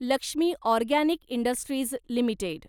Lakshmi organic industries limited